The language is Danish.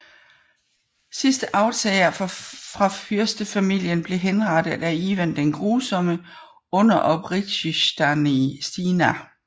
Sidste arvtager fra fyrstefamilien blev henrettet af Ivan den Grusomme under Opritsjnina